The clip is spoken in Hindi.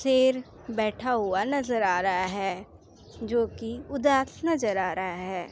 शेर बैठा हुआ नजर आ रहा है जोकि उदास नजर आ रहा है।